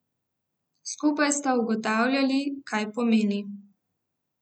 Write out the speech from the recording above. Skupaj sta ugotavljali, kaj pomeni.